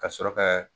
Ka sɔrɔ ka